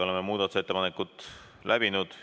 Oleme muudatusettepanekud läbi vaadanud.